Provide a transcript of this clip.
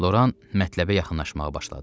Loran mətləbə yaxınlaşmağa başladı.